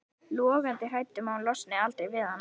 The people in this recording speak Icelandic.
Logandi hrædd um að hún losni aldrei við hann.